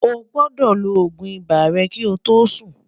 ọ̀ gbódò ló ògún ibà rè kí ọ tó Sùn